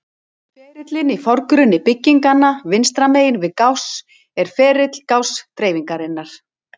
Ferillinn í forgrunni bygginganna vinstra megin við Gauss er ferill Gauss-dreifingarinnar.